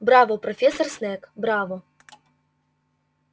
браво профессор снегг браво